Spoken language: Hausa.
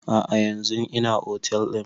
A'a yanzun ina otel ɗin